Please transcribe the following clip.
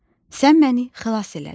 Sən məni xilas elədin.